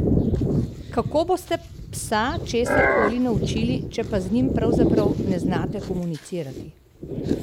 Kako boste psa česar koli naučili, če pa z njim pravzaprav ne znate komunicirati?